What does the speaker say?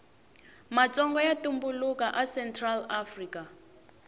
matsonga yatumbulaka a central afrika